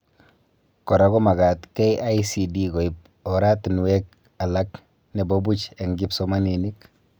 Kora komagat KICD koib oratinwek alak nebo boch eng kipsomanink